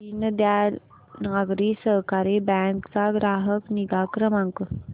Deendayal Nagari Sahakari bank चा ग्राहक निगा क्रमांक